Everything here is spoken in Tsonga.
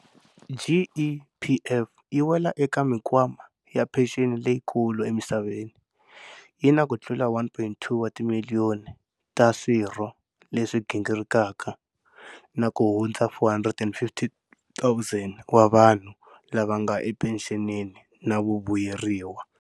GEPF yi wela eka mikwama ya phexeni leyikulu emisaveni, yi na kutlula 1.2 wa timiliyoni ta swirho leswi gingirikaka na kuhundza 450 000 wa vanhu lava nga ephenxenini na vavuyeriwa.